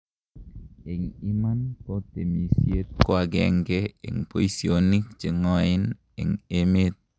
en imani ko temisiet koagengei en boisionik cheng'oen en emet